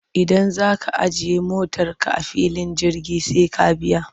Idan za ka ajiye motarka a filin jirgi sai ka biya.